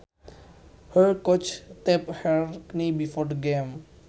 Her coach taped her knee before the game